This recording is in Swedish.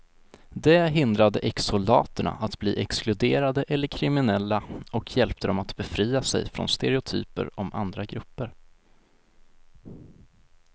Det hindrade exsoldaterna att bli exkluderade eller kriminella och hjälpte dem att befria sig från stereotyper om andra grupper.